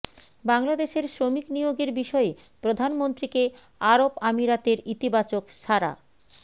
বাংলাদেশের শ্রমিক নিয়োগের বিষয়ে প্রধানমন্ত্রীকে আরব আমিরাতের ইতিবাচক সাড়া